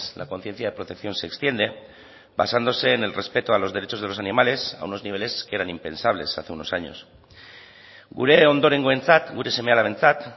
la conciencia de protección se extiende basándose en el respeto a los derechos de los animales a unos niveles que eran impensables hace unos años gure ondorengoentzat gure seme alabentzat